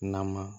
Nama